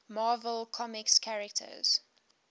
marvel comics characters